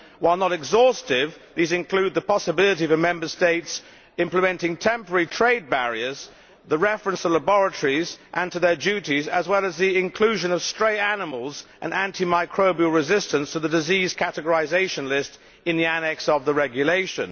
While not exhaustive, these include the possibility of Member States implementing temporary trade barriers and the reference to laboratories and to their duties, as well as the inclusion of stray animals and anti microbial resistance to the disease categorisation list in the annex of the regulation.